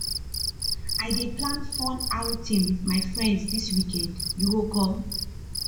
i dey plan fun outing wit my friends dis weekend you go come